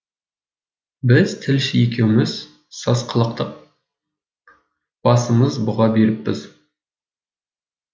біз тілші екеуміз сасқалақтап басымыз бұға беріппіз